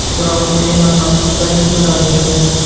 Biroq Neymar mazkur taklifni rad etgan.